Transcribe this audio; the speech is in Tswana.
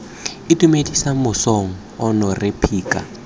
itumedisa mosong ono rre phika